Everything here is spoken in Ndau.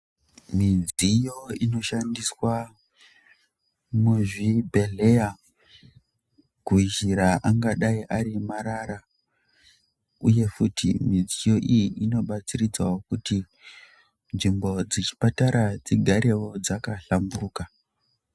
Mudziyo inoshandiswa muzvibhedhleya kunjira angadai ari marara uye futi mudziyo iyi inobatsiridzawo nzvimbo dzechipatara dzigarewo dzakahlamburuka.